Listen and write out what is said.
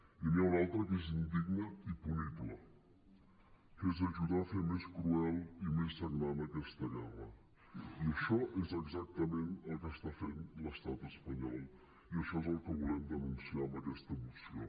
i n’hi ha una altra que és indigna i punible que és ajudar a fer més cruel i més sagnant aquesta guerra i això és exactament el que està fent l’estat espanyol i això és el que volem denunciar amb aquesta moció